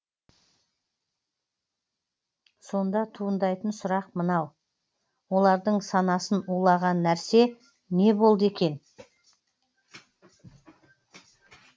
сонда туындайтын сұрақ мынау олардың санасын улаған нәрсе не болды екен